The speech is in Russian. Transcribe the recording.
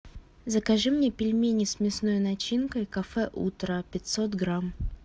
закажи мне пельмени с мясной начинкой кафе утро пятьсот грамм